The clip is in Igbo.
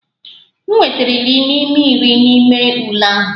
M nwetara iri n'ime iri n'ime ule ahụ.